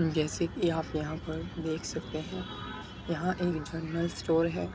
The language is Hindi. जैसे कि आप यहाँ पर देख सकते है यहाँ एक जनरल स्टोर है